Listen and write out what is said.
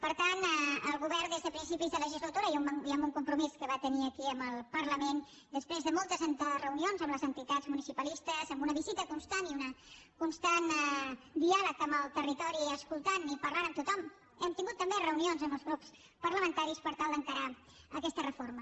per tant el govern des de principis de legislatura i amb un compromís que va tenir aquí amb el parlament després de moltes reunions amb les entitats municipalistes amb una visita constant i un constant diàleg amb el territori escoltant i parlant amb tothom hem tingut també reunions amb els grups parlamentaris per tal d’encarar aquesta reforma